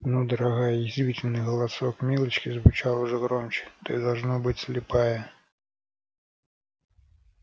ну дорогая язвительный голосок милочки звучал уже громче ты должно быть слепая